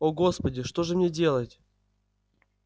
о господи что же мне делать